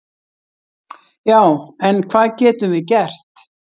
"""Já, en hvað getum við gert?"""